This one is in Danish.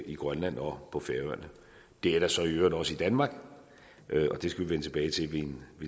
i grønland og på færøerne det er der så i øvrigt også i danmark og det skal vi vende tilbage til ved en